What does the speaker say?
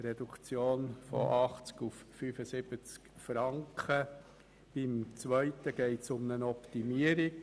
Bei der zweiten Massnahme geht es um eine Optimierung.